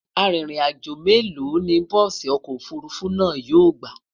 Àrin rìn àjọ mélò ní bùsi ọkọ òfurufú náà yóò gbà?